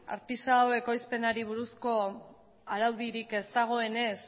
artisau ekoizpenari buruz araudirik ez dagoenez